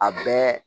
A bɛɛ